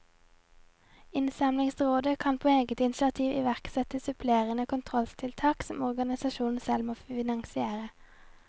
Innsamlingsrådet kan på eget initiativ iverksette supplerende kontrolltiltak, som organisasjonen selv må finansiere.